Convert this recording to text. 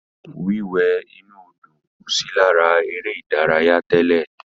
Wíwẹ̀ inú Odò kò sí lára eré ìdárayá tẹ́lẹ̀.